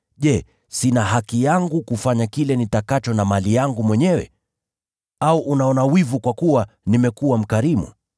Je, sina haki yangu kufanya kile nitakacho na mali yangu mwenyewe? Au unaona wivu kwa kuwa nimekuwa mkarimu?’